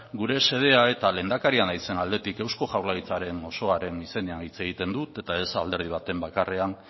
gure xedea eta lehendakaria naizen aldetik eusko jaurlaritzaren osoaren izenean hitz egiten dut eta ez alderdi baten izenean bakarrean